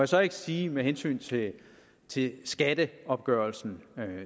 så ikke sige med hensyn til til skatteopgørelsen at det